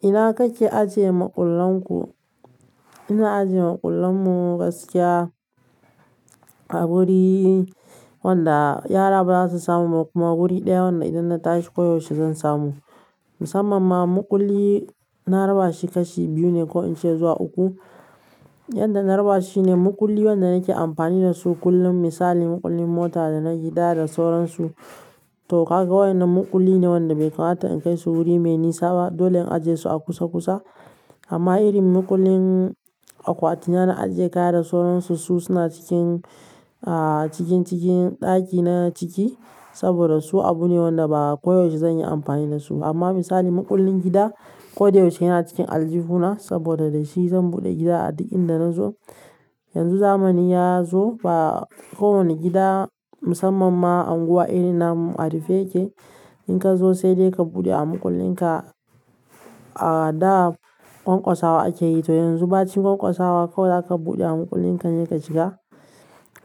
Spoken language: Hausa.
Ina kake ajiye maƙullan ku? Ina ajiye maƙullan mu gaskiya a wuri wanda yara ba za su samu kuma wuri ɗaya wanda idan na tashi koyaushe zan samu. Musamman ma maƙulli na raba shi kashi biyu ne ko in ce zuwa uku. Yanda na raba shi ne, maƙulli wanda nake amfani da su kullum misali maƙullin mota da na gida da sauransu to kaga wa'innan maƙulli ne wanda bai kamata in kai su wuri mai nisa ba. Dole in ajiye su a kusa kusa. Amma irin maƙullin akwati na, na ajiye kaya da sauransu su suna cikin, ah cikin cikin ɗaki na ciki saboda su abu ne wanda ba koyaushe zan yi amfani da su ba. Amma misali maƙullin gida koda yaushe yana cikin aljihuna saboda da shi zan buɗe gida a duk inda nazo. Yanzu zamani ya zo ba kowane gida musamman ma unguwar irin na mu a rufe yake, in ka zo sai dai ka buɗe a maƙullin ka ah. A da ƙwanƙwasawa ake yi to yanzu bacin ƙwanƙwasawa kawai zaka buɗe a maƙullin ka ne ka shiga.